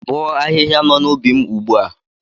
Bọọ ahịhịa nọ n'ubi m ugbu a!